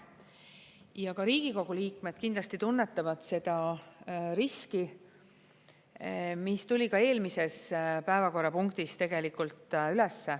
Ja ka Riigikogu liikmed kindlasti tunnetavad seda riski, mis tuli ka eelmises päevakorrapunktis tegelikult üles.